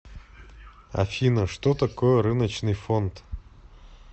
афина что такое рыночный фонд